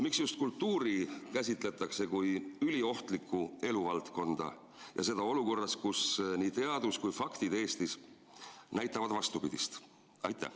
Miks just kultuuri käsitletakse kui üliohtlikku eluvaldkonda ja seda olukorras, kus nii teadus kui faktid Eestis näitavad vastupidist?